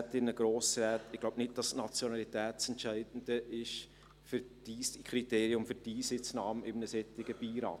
Ich glaube nicht, dass die Nationalität das Entscheidende ist als Kriterium für die Einsitznahme in einem solchen Beirat.